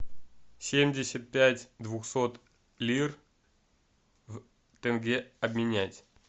семьдесят пять двухсот лир в тенге обменять